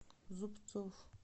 зубцов